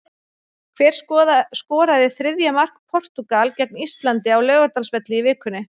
Hver skoraði þriðja mark Portúgal gegn Íslandi á Laugardalsvelli í vikunni?